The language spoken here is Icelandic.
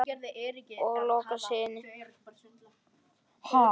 Og hann lokar sig inni.